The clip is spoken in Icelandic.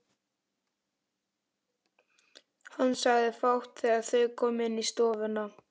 Hann segir fátt þegar þau koma inn í stofuna.